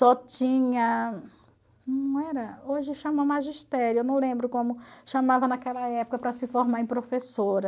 Só tinha, não era, hoje chama magistério, eu não lembro como chamava naquela época para se formar em professora.